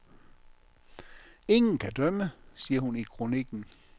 Ingen kan dømme, siger hun i kroniken.